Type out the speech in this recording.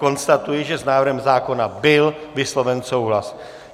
Konstatuji, že s návrhem zákona byl vysloven souhlas.